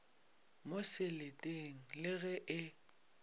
mo seleteng le ge e